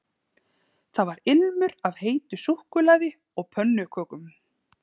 Það var ilmur af heitu súkkulaði og pönnukökum